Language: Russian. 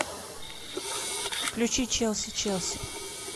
включи челси челси